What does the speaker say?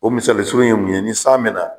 O misali surun ye mun ye, ni san bɛ na